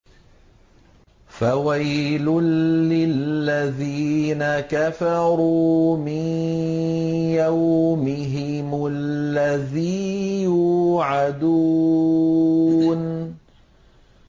فَوَيْلٌ لِّلَّذِينَ كَفَرُوا مِن يَوْمِهِمُ الَّذِي يُوعَدُونَ